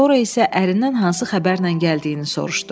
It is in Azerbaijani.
Sonra isə ərindən hansı xəbərlə gəldiyini soruşdu.